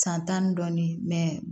San tan ni dɔɔnin